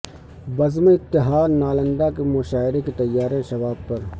بزم اتحاد نالندہ کے مشاعرے کی تیاری شباب پر